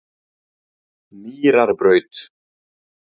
Mýrarbraut